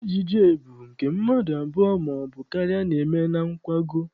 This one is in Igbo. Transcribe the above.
Ejije bụ nke mmadụ abụọ maọbụ karịa na-eme na nkwago.